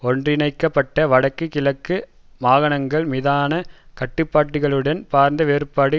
ஒன்றிணைக்கப்பட்ட வடக்கு கிழக்கு மாகாணங்கள் மீதான கட்டுப்பாட்டுகளுடன் பரந்த வேறுபாடு